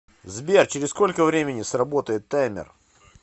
сбер через сколько времени сработает таймер